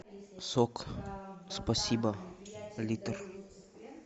сок спасибо литр